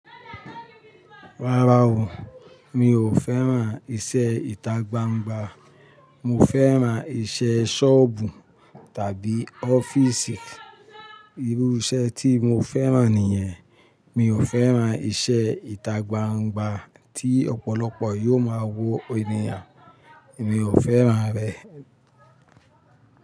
Rárá o, mi ò fẹ́ran iṣẹ́ ìtagbangba. Mo fẹ́ran iṣẹ́ ṣọ́ọ̀bù tàbí ọ́fíìsì. Irú iṣẹ́ tí mo fẹ́ran nìyẹn. Mi ò fẹ́ran iṣẹ́ ìtagbangba tí ọ̀pọ̀lọpọ̀ yóò máa wo ènìyàn. Mi ò fẹ́ran rẹ̀